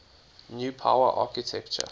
new power architecture